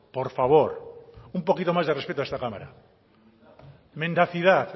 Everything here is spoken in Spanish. por favor un poquito más de respeto a esta cámara mendacidad